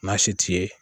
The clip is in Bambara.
Maa si t'i ye